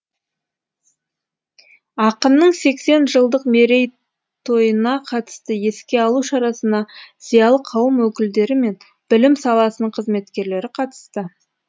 ақынның сексен жылдық меретойына қатысты еске алу шарасына зиялы қауым өкілдері мен білім саласының қызметкерлері қатысты